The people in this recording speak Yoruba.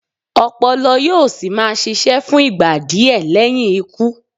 Ọpọlọ yóò sì máa ṣiṣẹ́ fún ìgbà díẹ̀ lẹ́yìn ikú.